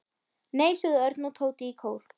Nei sögðu Örn og Tóti í kór.